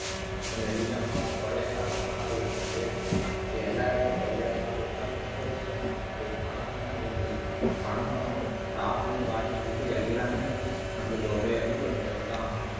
நெல்லிக்காய் மரம், கொய்யாக்காய் மரம் எல்லாம் வைங்க கொய்யாக்காய் இலை கொய்யாக்காய் இதெல்லாம் ரொம்ப பனை மரமும் அதே மாதிரி பனை மரம் top ல இருந்து bottom வரைக்கும் எல்லாமே நம்மளுக்கு உபயோகப்படுறதுதான்